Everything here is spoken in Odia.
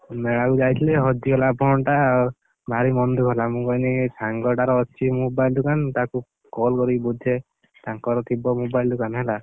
ମେଳାକୁ ଯାଇଥିଲି ହଜିଗଲା phone ଟା, ଭାରି ମନ ଦୁଃଖ ହେଲା। ମୁଁ କହିଲି ସାଙ୍ଗଟାର ଅଛି mobile ଦୋକାନ ତାକୁ call କରି ବୁଝେ, ତାଙ୍କର ଥିବ mobile ଦୋକାନ ହେଲା?